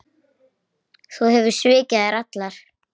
Þú hefur svikið þær allar.